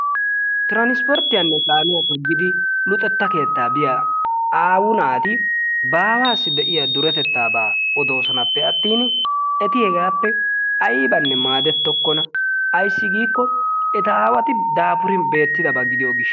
Tiransporttiyanne kaamiyaa toggidi luxetta keetta biya aawu naati baawassi de'iyaa duretettaaba odossonappe attin eti hegappe aybbanne maadettokkona. Ayssi giikko eta aawati daafurin beettidaaba gidiyo gishshawu.